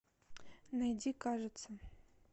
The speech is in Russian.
найди кажется